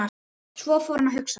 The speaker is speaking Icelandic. Svo fór hann að hugsa.